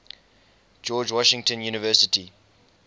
george washington university